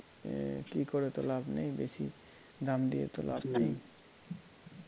এ কি করে তো লাভ নেই বেশি দাম দিয়ে তো লাভ নেই